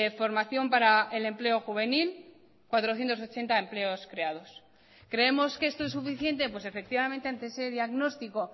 formación para el empleo juvenil cuatrocientos ochenta empleos creados creemos que esto es suficiente pues efectivamente ante ese diagnóstico